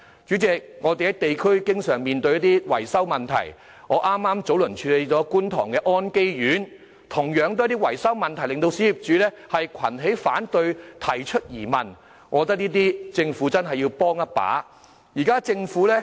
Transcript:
主席，我們在地區經常面對一些維修問題，我早前剛處理了觀塘安基苑的情況，同樣是因維修問題令小業主群起反對，提出質疑，我認為政府真的要在這些事上幫一把。